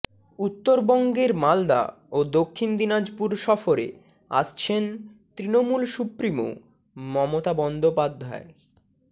উত্তরবঙ্গের মালদা ও দক্ষিণ দিনাজপুর সফরে আসছেন তৃণমূল সুপ্রিমো মমতা বন্দ্যোপাধ্যায়